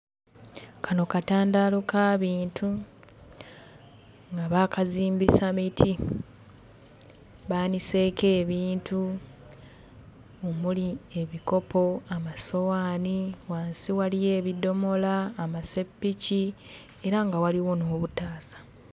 Kano katandaalo ka bintu nga baakazimbisa miti. Baaniseeko ebintu omuli ebikopo, amasowaani. Wansi waliyo ebidomola, amaseppiki, era nga waliwo n'obutaasa.